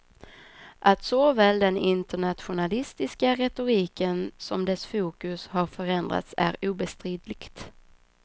Att såväl den internationalistiska retoriken som dess fokus har förändrats är obestridligt.